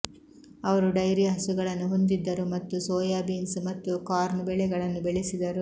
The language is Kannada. ಅವರು ಡೈರಿ ಹಸುಗಳನ್ನು ಹೊಂದಿದ್ದರು ಮತ್ತು ಸೋಯಾ ಬೀನ್ಸ್ ಮತ್ತು ಕಾರ್ನ್ ಬೆಳೆಗಳನ್ನು ಬೆಳೆಸಿದರು